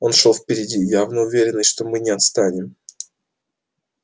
он шёл впереди явно уверенный что мы не отстанем